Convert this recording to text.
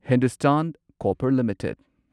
Hindustan Copper limited